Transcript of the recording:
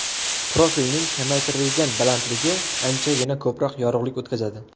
Profilning kamaytirilgan balandligi anchagina ko‘proq yorug‘lik o‘tkazadi.